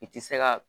I ti se ka